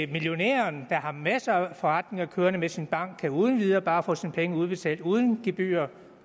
millionæren der har masser af forretninger kørende med sin bank uden videre bare kan få sine penge udbetalt uden gebyrer og